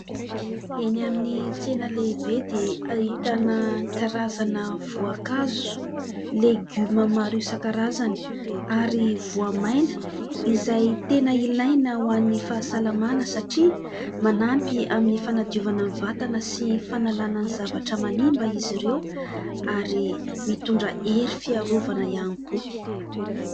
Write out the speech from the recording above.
Eny amin'ny tsena lehibe dia ahitana karazana voankazo, legioma maro isan-karazany ary voamaina izay tena ilaina ho an'ny fahasalamana, satria manampy amin'ny fanadiovana vatana sy fanalana ny zavatra manimba izy ireo, ary mitondra hery fiarovana ihany koa.